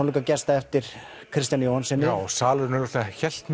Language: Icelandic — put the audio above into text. eftir Kristjáni Jóhannsyni já salurinn augljóslega hélt